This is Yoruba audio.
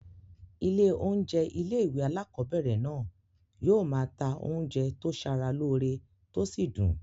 Ilé oúnjẹ ilé-ìwé alákobẹ̀rẹ̀ náà yóò máa ta oúnjẹ tó sara lóore tó sì dùn